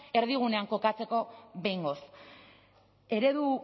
erdigunean kokatzeko behingoz eredu